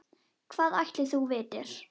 Hvað ætli þú vitir?